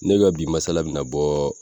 Ne ka bi masala me na bɔ